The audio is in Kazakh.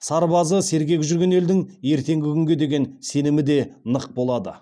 сарбазы сергек жүрген елдің ертеңгі күнге деген сенімі де нық болады